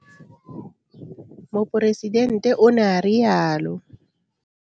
Moporesidente o ne a rialo.